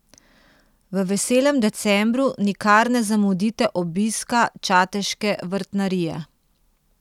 V veselem decembru nikar ne zamudite obiska čateške vrtnarije.